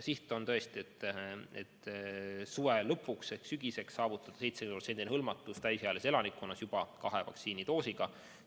Siht on tõesti see, et suve lõpuks ehk sügiseks saavutada 70% hõlmatus täisealise elanikkonna hulgas juba kahe vaktsiinidoosiga.